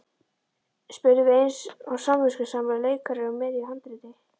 spurðum við eins og samviskusamir leikarar í miðju handriti.